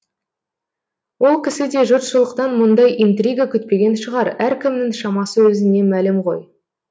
ол кісі де жұртшылықтан мұндай интрига күтпеген шығар әркімнің шамасы өзіне мәлім ғой